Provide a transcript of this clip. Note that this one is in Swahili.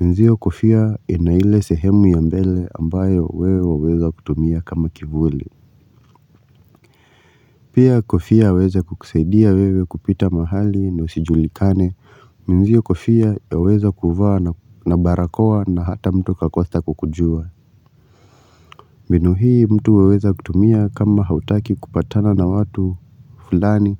Minzio kofia inaile sehemu ya mbele ambayo wewe waweza kutumia kama kivuli. Pia kofia waeza kukusaidia wewe kupita mahali ni usijulikane. Jua kufia ya weza kuhuvaa na barakoa na hata mtu kakosa kukujua mbinu hii mtu weweza kutumia kama hautaki kupatana na watu fulani